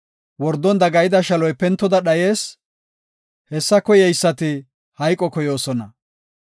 Wordon dagayida shaloy pentoda dhayees; hessa koyeysati hayqo koyoosona.